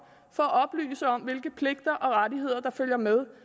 for at oplyse om hvilke pligter og rettigheder der følger med